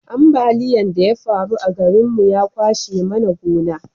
ambaliyan da ya faru a garin mu ya kwashe mana gona